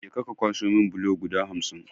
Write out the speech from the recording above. Je ka ka kwaso mun bulo guda hamsin!